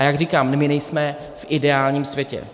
A jak říkám, my nejsme v ideálním světě.